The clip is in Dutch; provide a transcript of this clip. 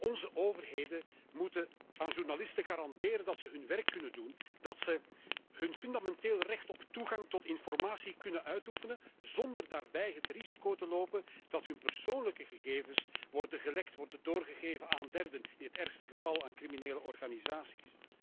Onze overheden moeten aan journalisten garanderen dat ze hun werk kunnen doen, dat ze hun fundamentele recht op toegang tot informatie kunnen uitoefenen zonder daarbij het risico te lopen dat hun persoonlijke gegevens worden gelekt, worden doorgegeven aan derden, in het ergste geval aan criminele organisaties.